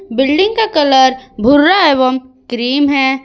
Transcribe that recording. Building का colour भुरा एवं क्रीम है।